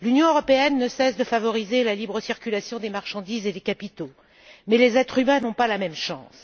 L'Union européenne ne cesse de favoriser la libre circulation des marchandises et des capitaux, mais les êtres humains n'ont pas la même chance.